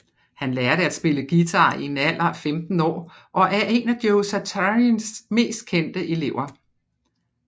Han lærte at spille guitar en alder af 15 år og er en af Joe Satrianis mest kendte elever